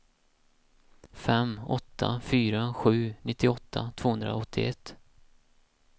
fem åtta fyra sju nittioåtta tvåhundraåttioett